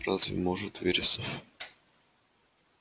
разве может вересов